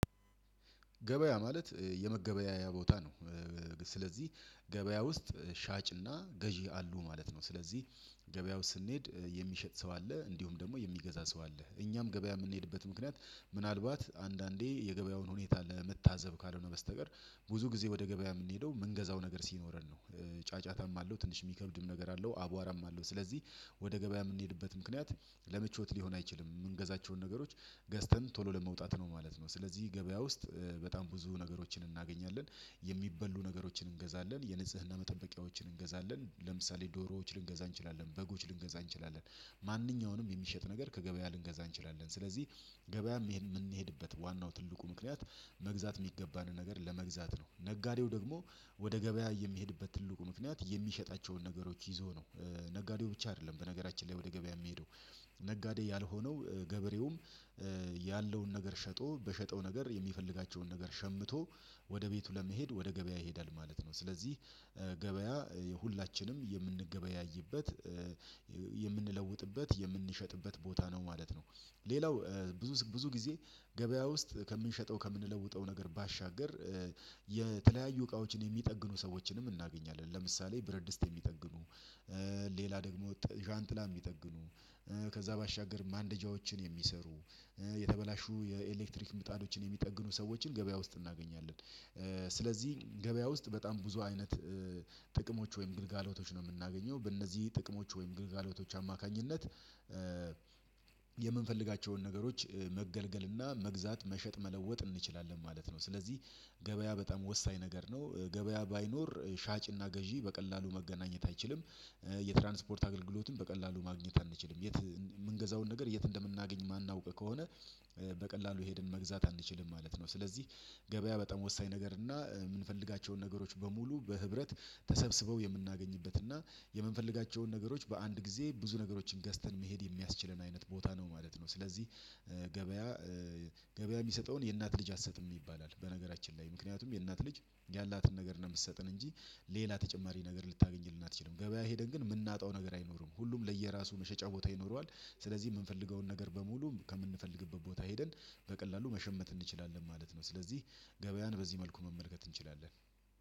ገበያ ማለት የመገበያያ ቦታ ነው። ስለዚህ ገበያ ውስጥ ሻጭና ገዢ አሉ ማለት ነው። ስለዚህ ገበያ ውስጥ ስንሄድ የሚሸጥ ሰው አለ እንዲሁም ደግሞ የሚገዛ ሰው አለ። እኛም ገበያ የምንሄድበት ምክንያት ምናልባት አንዳንዴ የገበያውን ሁኔታ ለመታዘብ ካልሆነ በስተቀር ብዙ ጊዜ ወደ ገበያ የምንሄደው ምንገዛው ነገር ሲኖረን ነው። ጫጫታም አለው ትንሽ የሚከብድም ነገር አለው አቧራም አለው። ስለዚህ ወደ ገበያ የምንሄድበት ምክንያት ለምቾት ሊሆን አይችልም የምንገዛቸውን ነገሮች ገዝተን ቶሎ ለመውጣት ነው ማለት ነው። ስለዚህ ገበያ ውስጥ በጣም ብዙ ነገሮችን እናገኛለን። የሚበሉ ነገሮችን እንገዛለን የንጽህና መጠበቂያዎችን እንገዛለን ለምሳሌ ዶሮዎች ልንገዛ እንችላለን በጎች ልንገዛ እንችላለን። ማንኛውንም የሚሸጥ ነገር ከገበያ ልንገዛ እንችላለን ስለዚህ ገበያም ምሄ ምንሄድበት ዋናው ትልቁ ምክንያት መግዛት የሚገባን ነገር ለመግዛት ነው። ነጋዴው ደግሞ ወደ ገበያ የሚሄድበት ትልቁ ምክንያት የሚሸጣቸውን ነገሮች ይዞ ነው። ነጋዴው ብቻ አይደለም በነገራችን ላይ ወደ ገበያ የሚሄደው ነጋዴ ያልሆነው ገበሬውም ያለውን ነገር ሸጦ በሸጠው ነገር የሚፈልጋቸውን ነገር ሸምቶ ወደ ቤቱ ለመሄድ ወደ ገበያ ይሄዳል ማለት ነው። ስለዚህ ገበያ ሁላችንም የምንገበያይበት የምንለውጥበት የምንሸጥበት ቦታ ነው ማለት ነው። ሌላው ብዙ ብዙ ጊዜ ገበያ ውስጥ ከምንሸጠው ከምንለውጠው ነገር ባሻገር የተለያዩ እቃዎችን የሚጠግኑ ሰዎችንም እናገኛለን ለምሳሌ ብረትድስት የሚጠግኑ ሌላ ደግሞ ዣንጥላ የሚጠግኑ ከዛ ባሻገር ማንደጃዎችን የሚሰሩ የተበላሹ የኤሌክትሪክ ምጣዶችን የሚጠግኑ ሰዎችን ገበያ ውስጥ እናገኛለን። ስለዚህ ገበያ ውስጥ በጣም ብዙ አይነት ጥቅሞች ወይም ግልጋሎቶች ነው የምናገኘው በእነዚህ ጥቅሞች ወይም ግልጋሎቶች አማካኝነት የምንፈልጋቸውን ነገሮች መገልገል እና መግዛት መሸጥ መለወጥ እንችላለን ማለት ነው። ስለዚህ ገበያ በጣም ወሳኝ ነገር ነው። ገበያ ባይኖር ሻጭና ገዢ በቀላሉ መገናኘት አይችልም። የትራንስፖርት አገልግሎትን በቀላሉ ማግኘት አንችልም የት የምንገዛውን ነገር የት እንደምናገኝ የማናውቅ ከሆነ በቀላሉ ሄድን መግዛት አንችልም ማለት ነው። ስለዚህ ገበያ በጣም ወሳኝ ነገር እና የምንፈልጋቸውን ነገሮች በሙሉ በህብረት ተሰብስበው የምናገኝበት እና የምንፈልጋቸውን ነገሮች በአንድ ጊዜ ብዙ ነገሮችን ገዝተን መሄድ የሚያስችለን አይነት ቦታ ነው ማለት ነው። ስለዚህ ገበያ የሚሰጠውን የእናት ልጅ አትሰጥም ይባላል በነገራችን ላይ ምክንያቱም የእናት ልጅ ያላትን ነገር ነው ምትሰጥን እንጂ ሌላ ተጨማሪ ነገር ልታገኝ አትችልም። ገበያ ሄደን ግን የምናጣው ነገር አይኖርም ሁሉም ለየራሱ መሸጫ ቦታ ይኖረዋል። ስለዚህ የምንፈልገውን ነገር በሙሉ ከምንፈልግበት ቦታ ሄደን በቀላሉ መሸመት እንችላለን ማለት ነው። ስለዚህ ገበያን በዚህ መልኩ መመልከት እንችላለን።